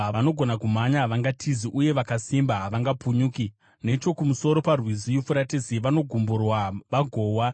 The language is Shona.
Vanogona kumhanya havangatizi, uye vakasimba havangapunyuki. Nechokumusoro paRwizi Yufuratesi vanogumburwa vagowa.